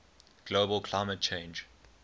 global climate change